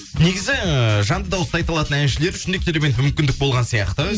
негізі ыыы жанды дауыста айта алатын әншілер үшін де керемет мүмкіндік болған сияқты